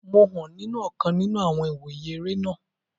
Mo hàn nínu ọ̀kan nínu àwọn ìwòye eré náà